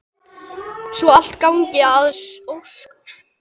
Svo allt gangi að óskum.